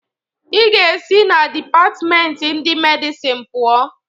Ị ga-esi na dipatpmenti ndị Medicine pụọ!